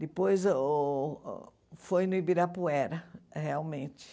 Depois uh foi no Ibirapuera, realmente.